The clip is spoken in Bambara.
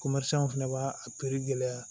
fɛnɛ b'a a gɛlɛya